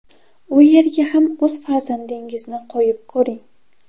U yerga ham o‘z farzandingizni qo‘yib ko‘ring.